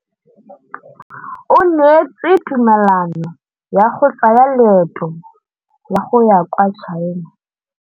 O neetswe tumalanô ya go tsaya loetô la go ya kwa China.